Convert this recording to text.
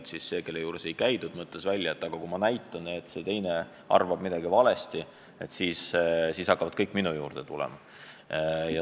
Ja siis see, kelle juures ei käidud, mõtles välja, et kui ma näitan, et see teine arvab midagi valesti, siis hakkavad kõik minu juurde tulema.